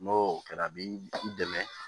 N'o kɛra a bi dɛmɛ